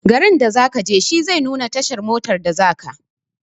Garin da zakaje shi zai nuna tashar motar da zaka.